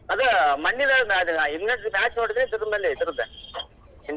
ಅದ್ ಮನ್ನಿದ್ ಆದ್ match ನೋಡಿದಿ ಇದರ್ದ್ .